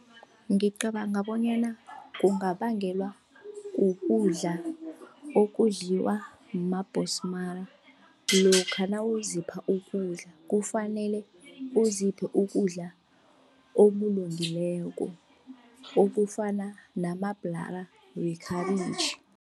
Ngicabanga bonyana kungabangelwa ukudla okudliwa mabhonsmara. Lokha nawuzipha ukudla kufanele uziphe ukudla okulungileko, okufana namabhlara wekhabitjhi